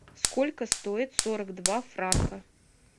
сколько стоит сорок два франка